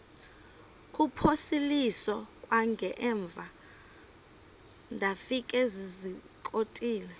kuphosiliso kwangaemva ndafikezizikotile